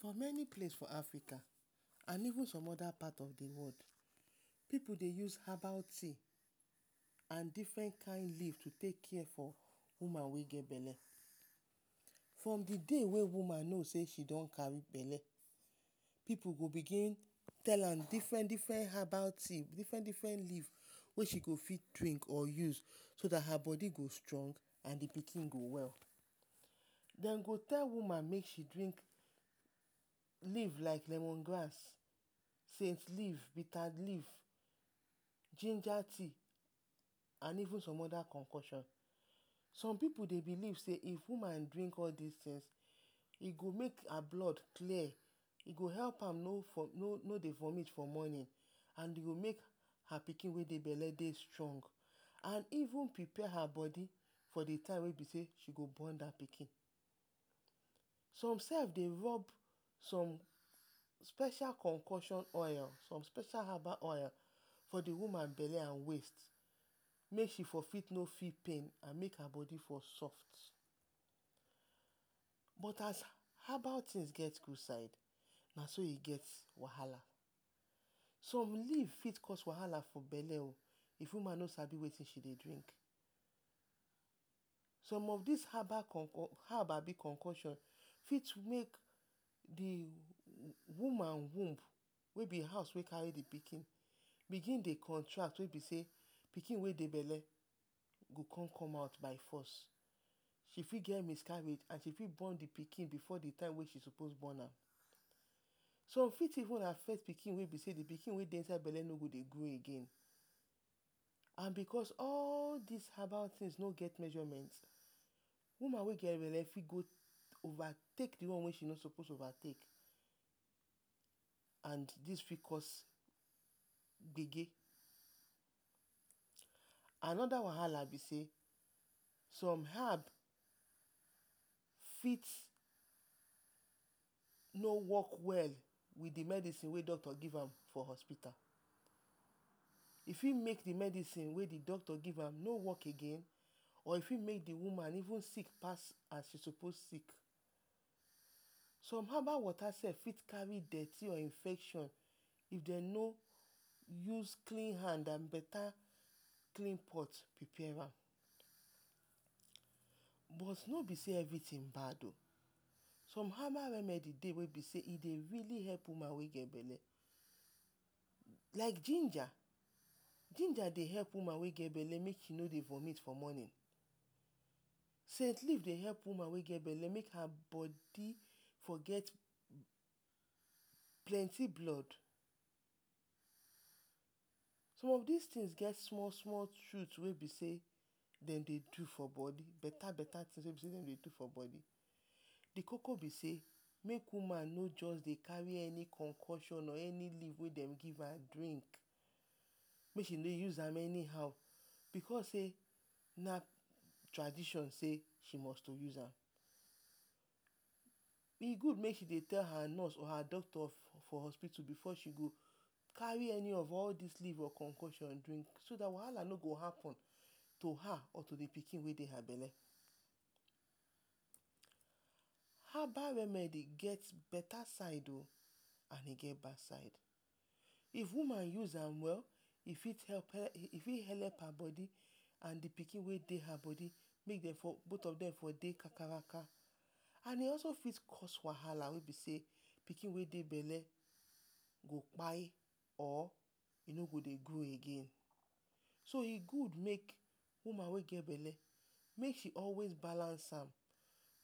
For meni place for Africa and even som oda part of the world, pipu dey use herbal tea and different kind leaf to take care for woman wey get bele. Form thre day wey woman no sey she don kari bele, pipu go begin tell am different-different habal tea, different-different leaf wey she go fit drink or use so dat her bodi go join and the pikin go well. Den go tell woman make she drink leaf like lemon grass, cent leaf, bita leaf, ginger tea and even some oda konkosion. Som pipu dey belief sey if woman drink all dis tin, e go mske her blood clear, e go make am no dey vomit for morning and e go make her pikin wey dey bele strong and even prepare her bodi for the time wey she go bon dat pikin, som sef dey rob some special konkosion oil. Som special habal oil for the woman bele and waist make she for still no feel pain……………? but as habal tin get gud side, na so e get wahala. Som leaf fit cause wahala for bele o if woman no sabi wetin she dey do. Som of dis habal konkosion fit make the woman womb wey be house wey kari the pikin bigin dey contract wey be sey, pikin wey dey bele go con come out by force. E fit get miscarriage and e fit bon the pikin before the time mey sopos bon am. Som fit even affect the pikin wey be sey the pikin wey dey inside bele no go dey grow again. And because all dis herbal tin no get measurement, women wey get bele fit go ova take the one wey she no sopos ova take. And dis fit cause gbege. Anoda wahala be sey, som hab fit no work well with the medicine doctor give am from hospitu, e fit make the medicine wey doctor give am no work again or e fit make the woman sik pas as e sopos sik. Som habal wota sef fit kari dirty or infection, if dem no use clean hand and beta…………………? som habal one e dey wey be sey e dey really help woman wey get bele. Like ginger, ginger dey help woman wey get bele make she no dey vomit in the morning, cent leaf dey help woman wey get bele make her bodi go get plenty blood som of dis tin get small-small tin wey dem dey do for bodi, beta-beta tin wey dem dey do for bodi. The koko be sey make woman no join dey kari any konkonsion wey dem give am mey she dey use am anyhow. Because sey na tradtion sey, she kust use am. E gud make she dey tell her nurse or doctor for hospitu before she go kari any of all dis leaf drink. So dat wahala no go happen to her or the pikin wey dey bele. Habal remedi get beta side and e get bad side o, if woman use am well, e fit helep her bodi, and the pikin wey dey her bodi both of dem de for de dey kakaraka, and e also fit cause wahala wey be sey pikin wey dey bele go kpai or e no go dey grow again. So e gud wey woman wey get bele make she always balance am,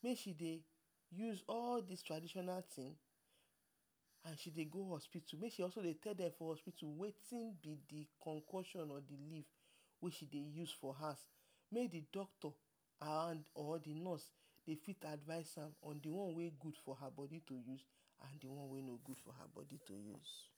mey she dey use all dis traditional tin and she dey go hospital, mey she also dey tell dem for hospital wetin be the konkosion or the leaf wey she dey use for house, mey the doctor, mey thedoctor or nurse around dey advice am the one wey gud for her bodi to use and the one wey no gud for her bodi to use.